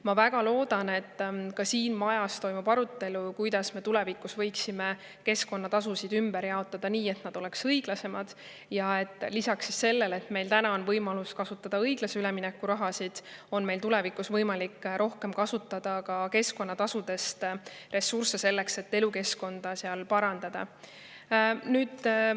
Ma väga loodan, et ka siin majas toimub arutelu, kuidas me tulevikus võiksime keskkonnatasusid ümber jaotada nii, et need oleks õiglasemad ja et lisaks sellele, et meil praegu on võimalus kasutada õiglase ülemineku raha, on meil tulevikus võimalik rohkem kasutada ka keskkonnatasudest tulevaid ressursse selleks, et elukeskkonda seal parandada.